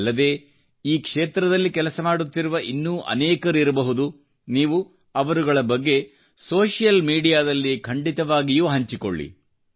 ಅಲ್ಲದೇ ಈ ಕ್ಷೇತ್ರದಲ್ಲಿ ಕೆಲಸ ಮಾಡುತ್ತಿರುವ ಇನ್ನೂ ಅನೇಕರಿರಬಹುದು ನೀವು ಅವರುಗಳ ಬಗ್ಗೆ ಸೋಷಿಯಲ್ ಮೀಡಿಯಾದಲ್ಲಿ ಖಂಡಿತವಾಗಿಯೂ ಹಂಚಿಕೊಳ್ಳಿ